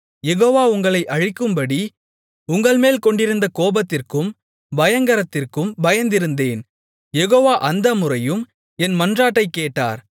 யெகோவா உங்களை அழிக்கும்படி உங்கள்மேல் கொண்டிருந்த கோபத்திற்கும் பயங்கரத்திற்கும் பயந்திருந்தேன் யெகோவா அந்த முறையும் என் மன்றாட்டைக் கேட்டார்